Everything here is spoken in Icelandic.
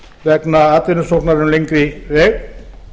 vegna atvinnusóknar um lengri veg